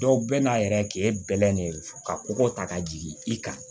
Dɔw bɛ na a yɛrɛ kɛ bɛlɛn de ka kɔkɔ ta ka jigin i kan